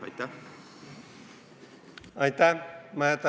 Aitäh!